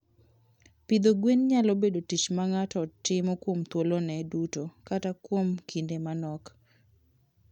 Pidho gwen nyalo bedo tich ma ng'ato timo kuom thuolone duto kata kuom kinde manok.